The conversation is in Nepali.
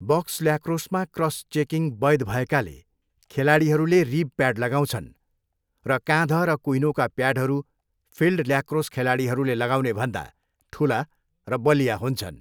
बक्स ल्याक्रोसमा क्रस चेकिङ वैध भएकाले, खेलाडीहरूले रिब प्याड लगाउँछन्, र काँध र कुहिनोका प्याडहरू फिल्ड ल्याक्रोस खेलाडीहरूले लगाउनेभन्दा ठुला र बलिया हुन्छन्।